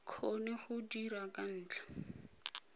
kgone go dira ka ntlha